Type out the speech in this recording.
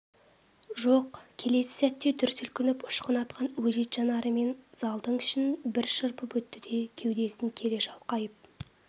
жоқ келесі сәтте дүр сілкініп ұшқын атқан өжет жанарымен залдың ішін бір шарпып өтті де кеудесін кере шалқайып